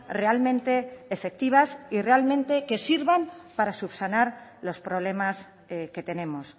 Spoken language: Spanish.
realmente efectivas y realmente que sirvan para subsanar los problemas que tenemos